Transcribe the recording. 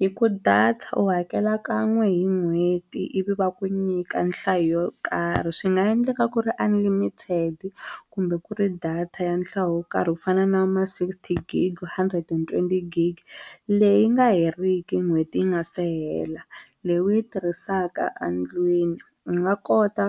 Hi ku data u hakela kan'we hi n'hweti ivi va ku nyika nhlayo yo karhi swi nga endleka ku ri unlimited kumbe ku ri data ya nhlayo yo karhi ku fana na ma sixty gig hundred and twenty gig leyi nga heriki n'hweti yi nga se hela leyi u yi tirhisaka endlwini u nga kota